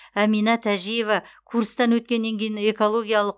әмина тәжиева курстан өткеннен кейін экологиялық